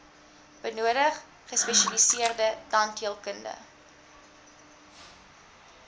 benodig gespesialiseerde tandheelkunde